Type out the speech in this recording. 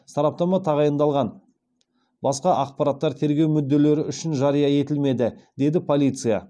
сараптама тағайындалған басқа ақпараттар тергеу мүдделері үшін жария етілмеді деді полиция